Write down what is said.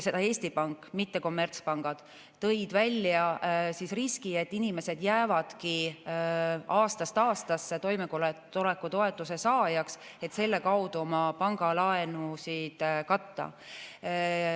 Eesti Pank, mitte kommertspangad, tõi välja riski, et inimesed jäävadki aastast aastasse toimetuleku toetuse saajaks, et selle kaudu oma pangalaenusid katta.